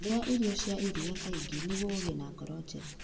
Iria irio cia iria kaingĩ nĩguo ũgĩe na ngoro njega.